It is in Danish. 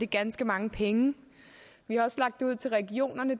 ganske mange penge vi har også lagt det ud til regionerne